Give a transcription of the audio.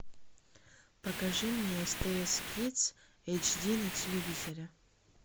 покажи мне стс кидс эйч ди на телевизоре